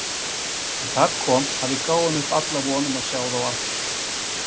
En þar kom að við gáfum upp alla von um að sjá þá aftur.